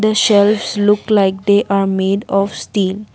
shelves look like they are made of steel.